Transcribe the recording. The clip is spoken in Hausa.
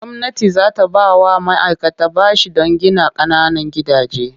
Gwamnati za ta ba wa ma'aikata bashi don gina ƙananan gidaje.